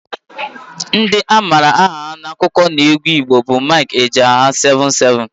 Ndị a maara aha ha n'akụkọneegwu Igbo bụ Mike Ejeagha, Seven Seven,